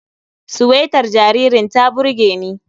Suwetar jaririn ta burge ni.